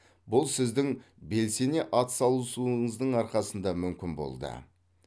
бұл сіздің белсене атсалысуыңыздың арқасында мүмкін болды